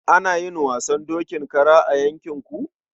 Ana yin wasan dokin kara a yankin ku?